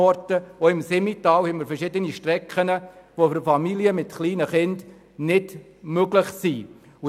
Im Simmental haben wir verschiedene Strecken, die für Familien mit kleinen Kindern nicht befahrbar sind.